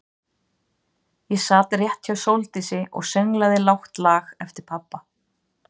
Ég sat rétt hjá Sóldísi og sönglaði lágt lag eftir pabba.